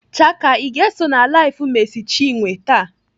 Chaka, Ị ga-eso na LIVE Mercy Chinwe taa?